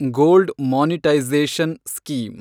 gold monetisation scheme